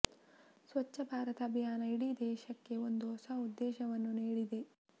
ಸ್ವಚ್ಛ ಭಾರತ ಅಭಿಯಾನ ಇಡೀ ದೇಶಕ್ಕೆ ಒಂದು ಹೊಸ ಉದ್ದೇಶವನ್ನು ನೀಡಿದೆ